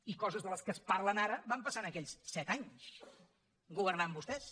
i coses de les quals es parla ara van passar en aquells set anys governant vostès